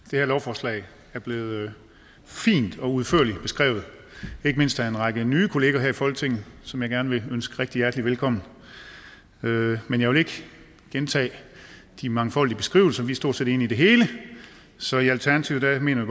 det her lovforslag er blevet fint og udførligt beskrevet ikke mindst af en række nye kollegaer her i folketinget som jeg gerne vil ønske rigtig hjerteligt velkommen men jeg vil ikke gentage de mangfoldige beskrivelser vi er stort set enige i det hele så i alternativet mener